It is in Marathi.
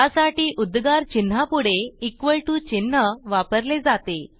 त्यासाठी उद्गार चिन्हापुढे इक्वॉल टीओ चिन्ह वापरले जाते